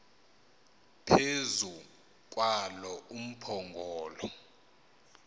phezu kwalo umphongolo